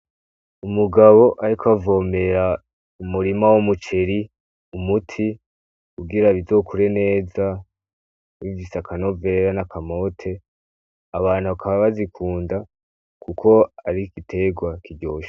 Umugabo, ariko avomera umurima wo muceri umuti ugira bizokure neza bivise akanovera n'akamote abantu bakaba bazikunda, kuko ari iigiterwa kiryosha.